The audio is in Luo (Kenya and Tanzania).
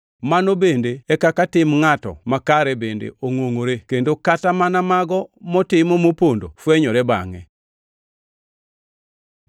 Mano bende e kaka tim ngʼato makare bende ongʼongʼore, kendo kata mana mago motimo mopondo fwenyore bangʼe.